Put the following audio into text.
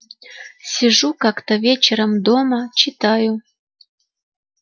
сижу как-то вечером дома читаю